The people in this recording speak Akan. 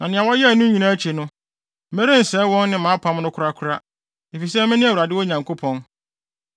Na nea wɔyɛɛ no nyinaa akyi no, merensɛe wɔn ne mʼapam no korakora, efisɛ mene Awurade wɔn Nyankopɔn.